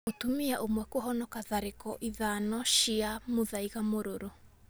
Mũtumia ũmwe kũhonoka tharĩko ithano ma mũthaiga mũrũrũ